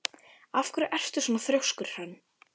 Af hverju ertu svona þrjóskur, Hrönn?